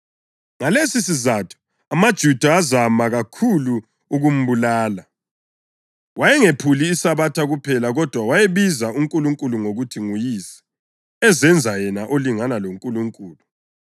Ngalesisizatho amaJuda azama kakhulu ukumbulala; wayengephuli iSabatha kuphela kodwa wayebiza uNkulunkulu ngokuthi nguYise, ezenza yena olingana loNkulunkulu.